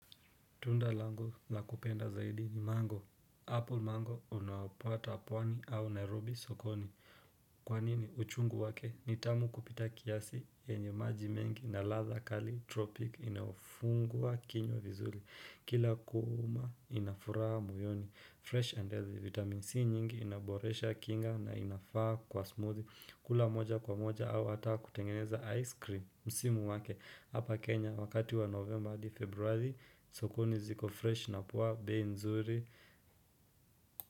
Tunda langu la kupenda zaidi ni mango. Apple mango unaopata pwani au Nairobi sokoni. Kwa nini? Uchungu wake ni tamu kupita kiasi yenye maji mengi na ladha kali tropik inayofungua kinywa vizuri. Kila kuuma ina furaha moyoni. Fresh and healthy vitamin C nyingi inaboresha kinga na inafaa kwa smoothie. Kula moja kwa moja au hata kutengeneza ice cream. Msimu wake hapa Kenya wakati wa Novemba hadi Februari sokoni ziko fresh na puwa bei nzuri.